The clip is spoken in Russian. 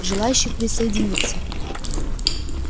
желающих присоединиться